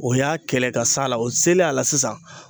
O y'a kɛlɛ ka s'a la o selen a la sisan